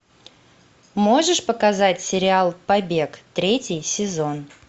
можешь показать сериал побег третий сезон